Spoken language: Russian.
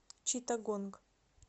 читтагонг